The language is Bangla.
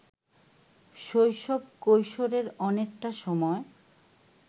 শৈশব-কৈশোরের অনেকটা সময়